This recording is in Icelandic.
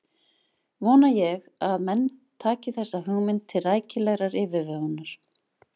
Vona ég að menn taki þessa hugmynd til rækilegrar yfirvegunar.